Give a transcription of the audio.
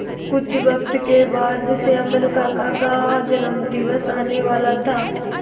कुछ वक्त के बाद श्यामल काका का जन्मदिवस आने वाला था